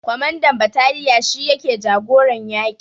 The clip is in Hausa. Kwamandan bataliya shi yake jagoran yaƙi